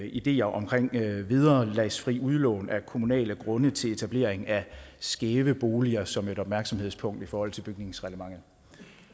ideer om vederlagsfrit udlån af kommunale grunde til etablering af skæve boliger som et opmærksomhedspunkt i forhold til bygningsreglementet